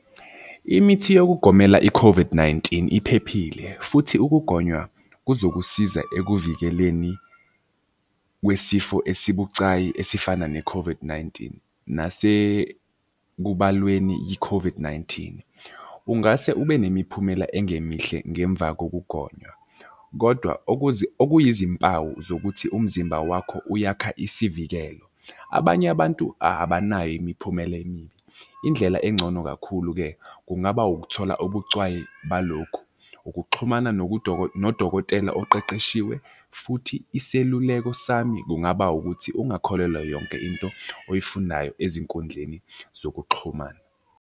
Imithi yokugomela i-COVID-19 iphephile futhi ukugonywa kuzokusiza ekuvikeleni kwesifo esibucayi esifana ne-COVID-19 nasekubalweni i-COVID-19. Ungase ube nemiphumela engemihle ngemva kokugonywa kodwa okuyizimpawu zokuthi umzimba wakho uyakha isivikelo. Abanye abantu abanayo imiphumela emibi. Indlela engcono kakhulu-ke kungaba ukuthola obucwayi balokhu, ukuxhumana nodokotela oqeqeshiwe futhi iseluleko sami kungaba ukuthi ungakholelwa yonke into oyifundayo ezinkundleni zokuxhumana.